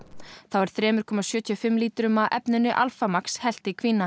þá er þriggja komma sjötíu og fimm lítrum af efninu Alpha Max hellt í